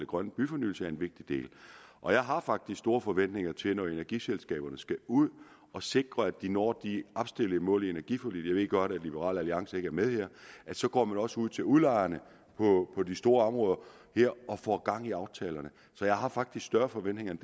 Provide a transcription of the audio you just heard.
grøn byfornyelse er en vigtig del og jeg har faktisk store forventninger til at når energiselskaberne skal ud at sikre at de når de opstillede mål i energiforliget jeg ved godt at liberal alliance ikke er med her så går man også ud til udlejerne på de store områder her og får gang i aftalerne så jeg har faktisk større forventninger end